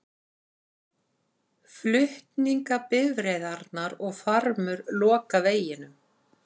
Flutningabifreiðarnar og farmur loka veginum